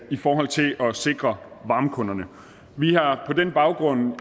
i forhold til at sikre varmekunderne vi har på den baggrund